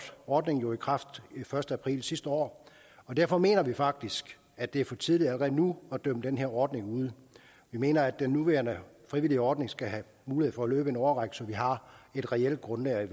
ordningen jo i kraft den første april sidste år og derfor mener vi faktisk at det er for tidligt allerede nu at dømme den her ordning ude vi mener at den nuværende frivillige ordning skal have mulighed for at løbe en årrække så man har et reelt grundlag at